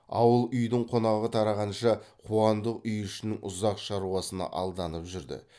ауыл үйдің қонағы тарағанша қуандық үй ішінің ұзақ шаруасына алданып жүрді